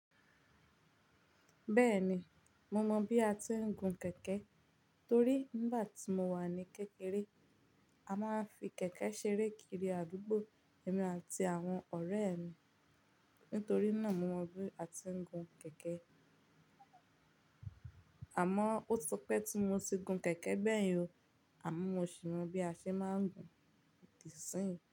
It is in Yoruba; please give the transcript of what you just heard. Bẹ́ẹ̀ni, mo mọ̀ bí a ti ń gun kẹ̀kẹ́ torí nígbà tí mo wà ní kékeré a máa ń fi kẹ̀kẹ́ ṣeré kiri àdúgbò èmi àti àwọn ọ̀rẹ́ mi. Nítorí náà mo mọ bí a ti ń gun kẹ̀kẹ́. Àmọ́ ó ti pẹ́ tí mo ti gun kẹ̀kẹ́ gbẹ́yin o, àmọ́ mo sì mọ bí a ṣe máa ń gun òdì síyìń.